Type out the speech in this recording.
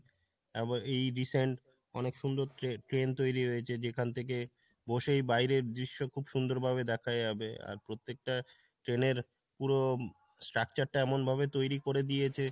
আবার এই recent অনেক সুন্দর tre~ train তৈরি হয়েছে যেখান থেকে বসেই বাইরের দৃশ্য খুব সুন্দর ভাবে দেখা যাবে, আর প্রত্যেকটা train পুরো structure টা এমন ভাবে তৈরি করে দিয়েছে।